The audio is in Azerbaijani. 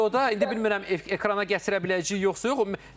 Bu videoda, indi bilmirəm, ekrana gətirə biləcəyik yoxsa yox.